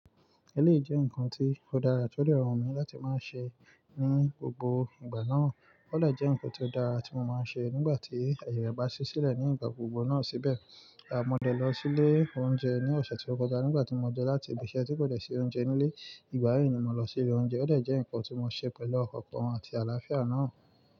Ẹ lé jẹ́ ǹkan tí ó dára tí ó dẹrùn mi láti máa ṣe ní gbogbo ìgbà náà. Ó lé jẹ́ ǹkan tí ó dára tí mo máa ń ṣe nígbà tí ẹ̀yà re bá ṣí sílẹ̀ ní ìgbà gbogbo náà síbẹ̀. A mọ de lọ sílé oúnjẹ ní ọ̀sẹ̀ tí ó kọjá nígbà tí mo de láti ìbi iṣẹ́ tí kò dè si oúnjẹ nílé. Ìgbà yi ni mo lọ sílé oúnjẹ. Ó dé jẹ́ ǹkan tí mo ṣe pẹ̀lú ọkan àti àlàáfíà náà.